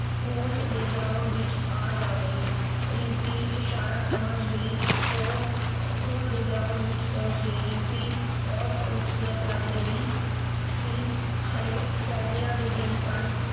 School ਦੇ ground ਵਿਚ ਆ ਜਾਵੇ। ਰਿੰਪੀ ਇਸ਼ਾਰਾ ਸਮਝ ਗਈ। ਉਹ ਸਕੂਲ ਦੇ ਗਰਾਊਂਡ ਵਿਚ ਪਹੁੰਚ ਗਈ। ਰਿੰਪੀ ਬਹੁਤ ਖੂਬਸੂਰਤ ਲੱਗ ਰਹੀ ਸੀ ਹਾਲੇ ਸਰਦੀਆਂ ਦੇ ਦਿਨ ਸਨ